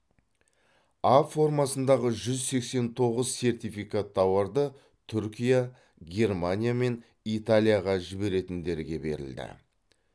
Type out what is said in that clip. а формасындағы жүз сексен тоғыз сертификат тауарды түркия германия мен италияға жіберетіндерге берілді